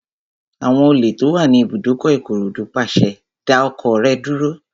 Àwọn olè tó wà ní ibùdókọ̀ Ìkòròdú pàṣẹ, "dá ọkọ̀ rẹ dúró!"